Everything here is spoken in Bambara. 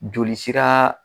Joli sera